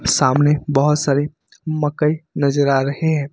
सामने बहुत सारे मकई नजर आ रहे हैं।